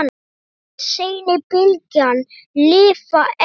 Megi seinni bylgjan lifa enn.